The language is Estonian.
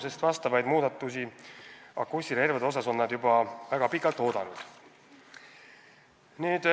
Nagu öeldud, nad on akustilisi relvi käsitlevat regulatsiooni juba väga pikalt oodanud.